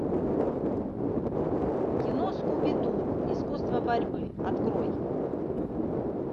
кино скуби ду искусство борьбы открой